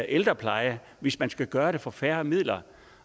ældrepleje hvis man skal gøre det for færre midler